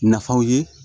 Nafaw ye